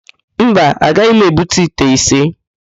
Mba, agaghị m ebute ite ise.